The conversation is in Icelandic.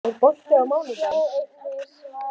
Spói, er bolti á mánudaginn?